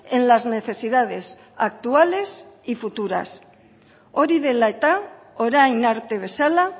en las necesidades actuales y futuras hori dela eta orain arte bezala